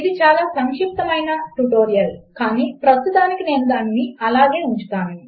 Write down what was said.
ఇది చాలా సంక్షిప్తము అయిన ట్యుటోరియల్ కానీ ప్రస్తుతమునకు నేను దానిని అలాగే ఉంచుతాను